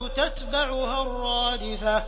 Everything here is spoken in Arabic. تَتْبَعُهَا الرَّادِفَةُ